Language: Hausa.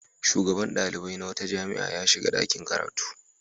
Shugaban ɗalibai na wata jami'a ya shiga ɗakin karatu.